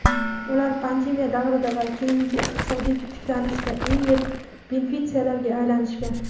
ular pandemiya davrida va keyingi iqtisodiy tiklanishda eng yirik benefitsiarlarga aylanishgan.